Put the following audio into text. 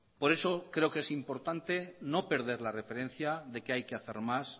por eso creo que es importante no perder la referencia de que hay que hacer más